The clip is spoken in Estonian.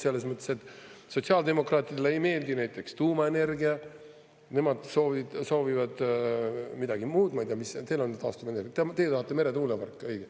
Selles mõttes, et sotsiaaldemokraatidele ei meeldi näiteks tuumaenergia, nemad soovivad midagi muud, ma ei tea, mis teil on, taastuvenergiat, ja teie tahate meretuuleparke, õige.